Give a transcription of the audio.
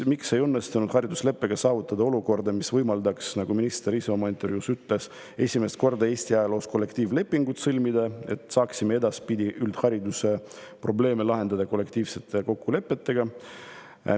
Miks ei õnnestunud haridusleppega saavutada olukorda, mis võimaldaks, nagu minister ise oma intervjuus ütles, esimest korda Eesti ajaloos kollektiivlepingut sõlmida, et saaksime edaspidi üldhariduse probleeme lahendada kollektiivsete kokkulepetega?